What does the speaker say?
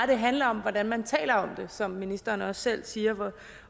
det handler om hvordan man taler om det som ministeren også selv siger eller